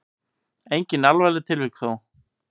Engin alvarleg tilvik þó.